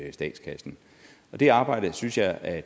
i statskassen det arbejde synes jeg at